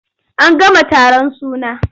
An gama taron suna.